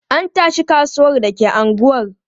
An tashi kasuwan da ke unguwar.